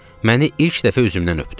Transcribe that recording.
Məni ilk dəfə üzümdən öpdü.